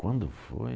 Quando foi?